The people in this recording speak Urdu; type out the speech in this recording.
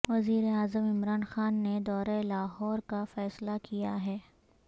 وزیراعظم عمران خان نے دورہ لاہور کا فیصلہ کیا ہے